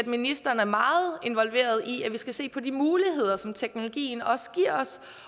ministeren er meget involveret i at vi skal se på de muligheder som teknologien også giver os